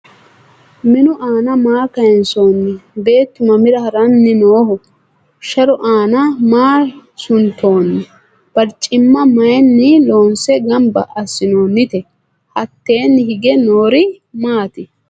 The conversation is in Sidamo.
Minnu aanna maa kayiinsoonni? Beettu mamira haranni nooho? Sharu aanna maa sunttoonni? Bariccimma mayiinni loonse ganbba asinoonnitte? Hattenni hige noori maatti?